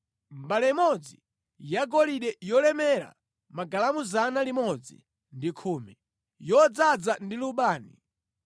mbale imodzi yagolide yolemera magalamu 110, yodzaza ndi lubani;